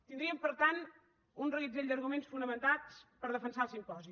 tindríem per tant un reguitzell d’arguments fonamentats per defensar el simposi